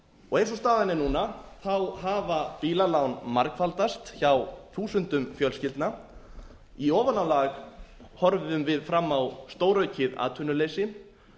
eins og staðan er núna hafa bílalán margfaldast hjá þúsundum fjölskyldna í ofanálag horfum við fram á stóraukið atvinnuleysi